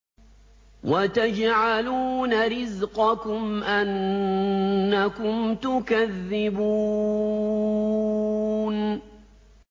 وَتَجْعَلُونَ رِزْقَكُمْ أَنَّكُمْ تُكَذِّبُونَ